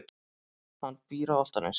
Hann býr á Álftanesi.